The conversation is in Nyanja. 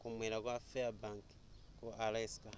kumwera kwa fairbank ku alaska